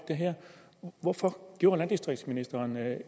hvorfor gjorde landdistriktsministeren